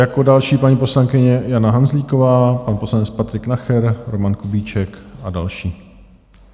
Jako další paní poslankyně Jana Hanzlíková, pan poslanec Patrik Nacher, Roman Kubíček a další.